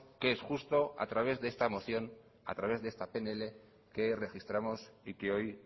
que es justo a través de esta moción a través de esta pnl que registramos y que hoy